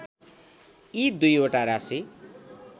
यी दुईवटा राशि